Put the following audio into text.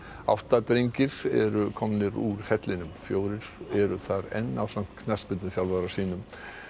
átta drengir eru komnir úr hellinum fjórir eru þar enn ásamt knattspyrnuþjálfara sínum